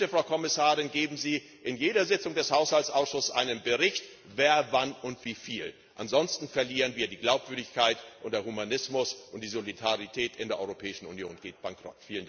Und bitte, Frau Kommissarin, geben Sie in jeder Sitzung des Haushaltsausschusses einen Bericht, wer, wann und wie viel, ansonsten verlieren wir die Glaubwürdigkeit, und der Humanismus und die Solidarität in der Europäischen Union gehen bankrott.